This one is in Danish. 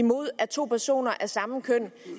mod at to personer af samme køn